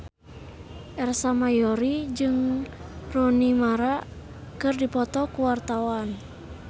Ersa Mayori jeung Rooney Mara keur dipoto ku wartawan